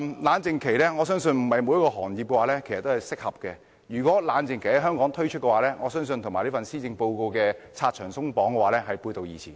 我認為不是每個行業都適合設立冷靜期，如果香港實施冷靜期的規定，我相信會與施政報告"拆牆鬆綁"的主張背道而馳。